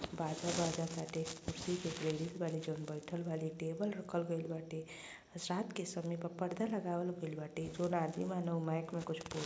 बाजा बाज टाटे | कुर्सी पर जउन गेस्ट बाने बइठल बाने टेबल रखल गइल बाटे रात के समय बा पर्दा लगावल गइल बाटे जवन आदमी बाने उ माइक में कुछ बोलताने |